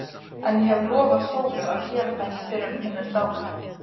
En ég hef lofað Sólu að gera það ekki fyrr en hún er dáin.